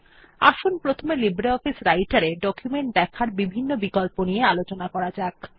আসুন প্রথমে লিব্রিঅফিস রাইটের এ ডকুমেন্ট দেখার বিভিন্ন বিকল্প নিয়ে আলোচনা করা যাক